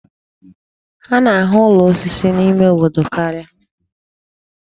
A na-ahụ ụlọ osisi n'ime obodo karịa.